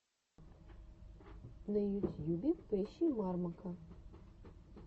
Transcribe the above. на ютьюбе поищи мармока